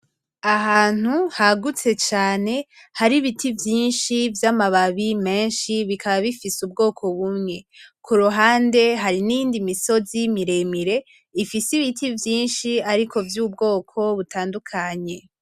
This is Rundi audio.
Ahantu hagutse cane hari ibiti vyinshi vy'amababi menshi bikaba bifise ubwoko bumwe, kuruhande hari niyindi misozi miremire ifise ibiti vyinshi ariko vy'ubwoko butandukanye.